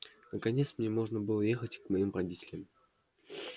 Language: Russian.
наконец мне можно было ехать к моим родителям